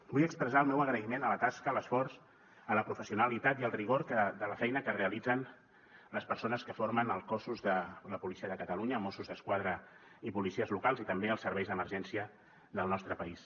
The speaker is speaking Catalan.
vull expressar el meu agraïment a la tasca a l’esforç a la professionalitat i al rigor de la feina que realitzen les persones que formen els cossos de la policia de catalunya mossos d’esquadra i policies locals i també els serveis d’emergència del nostre país